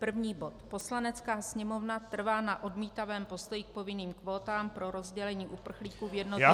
První bod: Poslanecká sněmovna trvá na odmítavém postoji k povinným kvótám pro rozdělení uprchlíků v jednotlivých -